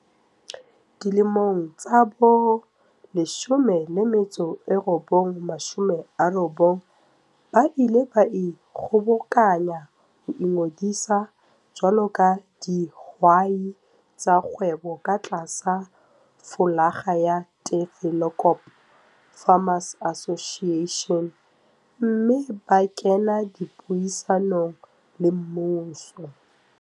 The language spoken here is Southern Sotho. Dilemong tsa bo1990 ba ile ba ikgobokanya ho ingodisa jwalo ka dihwai tsa kgwebo ka tlasa flolaga ya Tafelkop Farmers Association mme ba kena dipuisanong le mmuso.